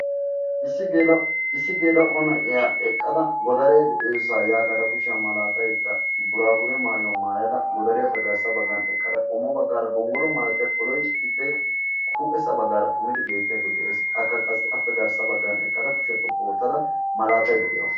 issi geela'o issi geela'o naa'iya eqqada godaree de'iyoosaa yaagada kushiya malatayda buraabure maayuwa maayada godariyappe garssa bagan eqqada qommo bagaara gonggolo malatiya koloy ippe huuphessa bagaara xummidi beetiyagee de'ees. Akka qassi appe garssa bagan eqqada kushiyaa xoqqu ootada malatayda de'awusu.